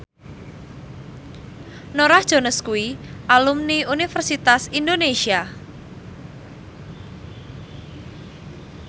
Norah Jones kuwi alumni Universitas Indonesia